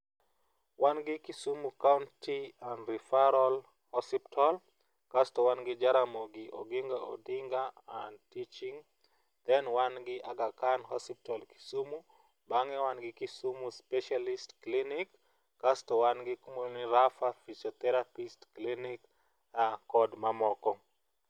Wan gi Kisumu county and referal hospital kasto wan gi Jaramogi Oginga Odinga and Teaching then wan gi Aga Khan hospital Kisumu. Bang' mano wan gi Kisumu specialist clinic kasto wan gi kumoro ni Rapha Physiotherapist clinic gi mamoko